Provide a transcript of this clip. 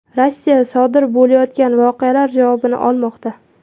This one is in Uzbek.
Rossiya sodir bo‘layotgan voqealar javobini olmoqda.